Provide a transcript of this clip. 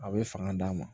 A bɛ fanga d'a ma